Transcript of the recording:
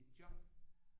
Et job